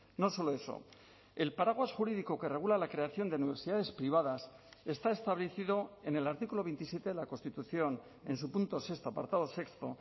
no solo eso el paraguas jurídico que regula la creación de universidades privadas está establecido en el artículo veintisiete de la constitución en su punto sexto apartado sexto